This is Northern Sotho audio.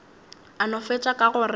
a no fetša ka gore